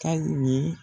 Ka ye